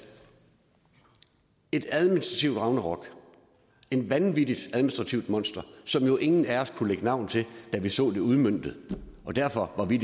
et administrativt ragnarok et vanvittigt administrativt monster som jo ingen af os kunne lægge navn til da vi så det udmøntet derfor var vi